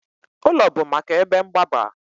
Ụlọ bụ maka ebe mgbaba